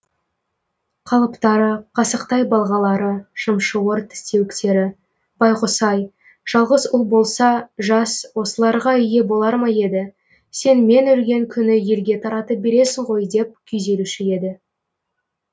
қалыптары қасықтай балғалары шымшуыр тістеуіктері байғұс ай жалғыз ұл болса жас осыларға ие болар ма еді сен мен өлген күні елге таратып бересің ғой деп күйзелуші еді